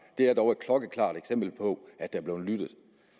det er dog et klokkeklart eksempel på at der er blevet lyttet